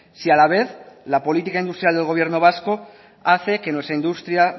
si a la vez la política industrial del gobierno vasco hace que nuestra industria